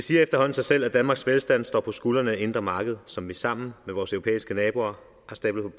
sig selv at danmarks velstand står på skuldrene af det indre marked som vi sammen med vores europæiske naboer har stablet